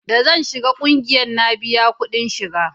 da zan shiga ƙungiyar na biya kudin shiga